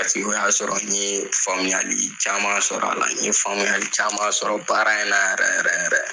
paseke o y'a sɔrɔ n ye faamuyali caman sɔrɔ a la n ye faamuyayali caman sɔrɔ baara in na yɛrɛ yɛrɛ yɛrɛ